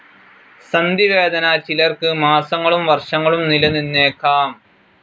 സന്ധിവേദന ചിലർക്ക് മാസങ്ങളും വർഷങ്ങളും നിലനിന്നേക്കാം.